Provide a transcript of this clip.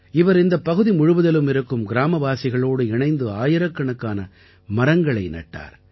இவர் இந்தப் பகுதி முழுவதிலும் இருக்கும் கிராமவாசிகளோடு இணைந்து ஆயிரக்கணக்கான மரங்களை நட்டார்